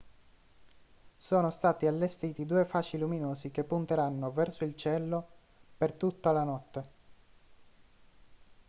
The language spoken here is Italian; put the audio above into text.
sono stati allestiti due fasci luminosi che punteranno verso il cielo per tutta la notte